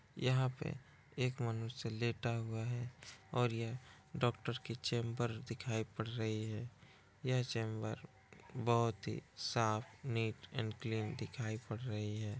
यहा पे एक मनुष्य लेटा हुआ है और यह डॉक्टर की चेंबर दिखाई पड़ रही है। यह चेंबर बहुत ही साफ नीट एंड क्लीन दिखाई पड़ रही है।